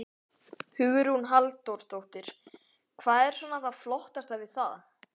Hugrún Halldórsdóttir: Hvað er svona það flottasta við það?